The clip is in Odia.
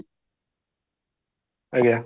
ଆଜ୍ଞା